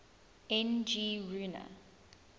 n g rjuna